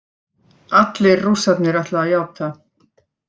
Allir Rússarnir ætla að játa